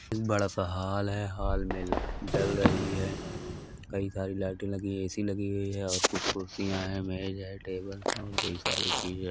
ए बड़ा सा हॉल है हॉल में लाइट जल रही है। कई सारी लाइट लगी हुए हैं ऐ.सी लगी हुइ है और कुछ कुर्सिया है मेज है टेबल है और कई सारी चीजे --